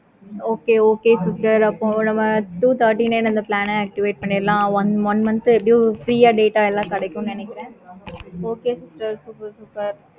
okay okay sister அப்பறம் நம்ம two forty nine plan ஆஹ் deactivate பண்ணிடலாம். one month plan ஆஹ் எப்படியு free யா கிடைக்கும். okay sister super super